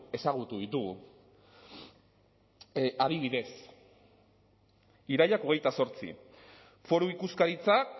ezagutu ditugu adibidez irailak hogeita zortzi foru ikuskaritzak